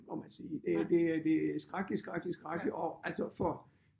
Må man sige det det det skrækkeligt skrækkeligt skrækkeligt og altså for